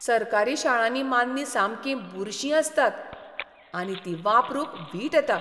सरकारी शाळांनी मान्नीं सामकीं बुरशीं आसतात आनी तीं वापरूंक वीट येता.